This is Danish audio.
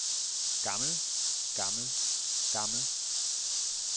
gammel gammel gammel